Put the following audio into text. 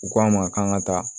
U k'an ma k'an ka taa